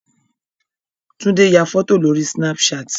Tunde ya fọ́tò lórí Snapchat.